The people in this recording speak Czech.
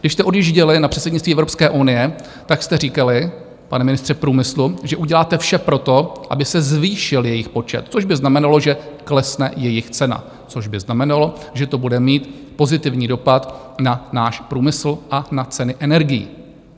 Když jste odjížděli na předsednictví Evropské unie, tak jste říkali, pane ministře průmyslu, že uděláte vše pro to, aby se zvýšil jejich počet, což by znamenalo, že klesne jejich cena, což by znamenalo, že to bude mít pozitivní dopad na náš průmysl a na ceny energií.